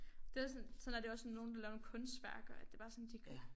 Det også sådan sådan er det jo også med nogle der laver nogle kunstværker at det bare sådan de